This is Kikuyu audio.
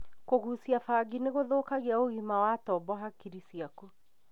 Kũgucia bangi nĩgũthũkagia ũgima wa tombo hakiri ciaku